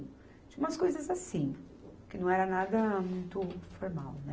Tinha umas coisas assim, que não era nada muito formal, né?